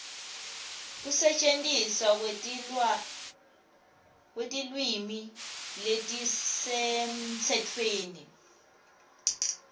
kusetjentiswa kwetilwimi letisemtsetfweni